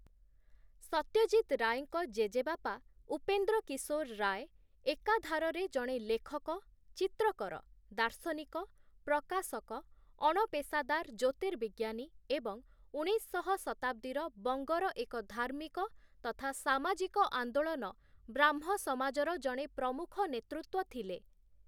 ସତ୍ୟଜିତ୍ ରାୟଙ୍କ ଜେଜେବାପା, ଉପେନ୍ଦ୍ରକିଶୋର ରାୟ ଏକାଧାରରେ ଜଣେ ଲେଖକ, ଚିତ୍ରକର, ଦାର୍ଶନିକ, ପ୍ରକାଶକ, ଅଣପେଶାଦାର ଜ୍ୟୋତିର୍ବିଜ୍ଞାନୀ ଏବଂ ଉଣେଇଶଶହ ଶତାବ୍ଦୀର ବଙ୍ଗର ଏକ ଧାର୍ମିକ ତଥା ସାମାଜିକ ଆନ୍ଦୋଳନ 'ବ୍ରାହ୍ମ ସମାଜ'ର ଜଣେ ପ୍ରମୁଖ ନେତୃତ୍ଵ ଥିଲେ ।